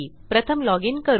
प्रथम लॉजिन करू